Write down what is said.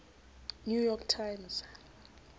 new york times